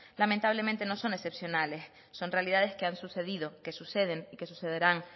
lamentablemente no son excepcionales son realidades que han sucedido que suceden y que sucederán